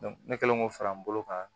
ne kɛlen k'o fara n bolo kan